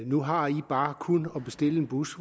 nu har i bare kun at bestille en bus